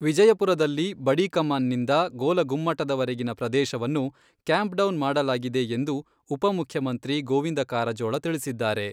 ವಿಜಯಪುರದಲ್ಲಿ ಬಡಿಕಮಾನ್ನಿಂದ ಗೋಲಗುಮ್ಮಟದವರೆಗಿನ ಪ್ರದೇಶವನ್ನು ಕ್ಯಾಂಪ್ಡೌನ್ ಮಾಡಲಾಗಿದೆ ಎಂದು ಉಪಮುಖ್ಯಮಂತ್ರಿ ಗೋವಿಂದ ಕಾರಜೋಳ ತಿಳಿಸಿದ್ದಾರೆ.